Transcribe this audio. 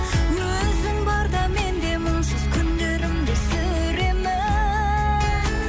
өзің барда мен де мұңсыз күндерімді сүремін